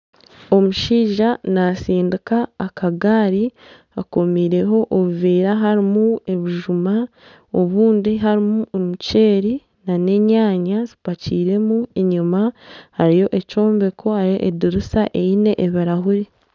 Omushaija naatsindika akagaari, akomireho ebiveera harimu ebijuma obundi harimu omuceeri nana enyanya zipakiiremu, enyima hariyo ekyombeko hariyo edirisa harimu ebirahure